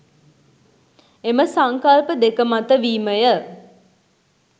එම සංකල්ප දෙක මත වීමය.